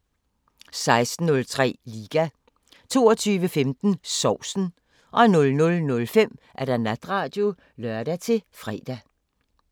16:03: Liga 22:15: Sovsen 00:05: Natradio (lør-fre)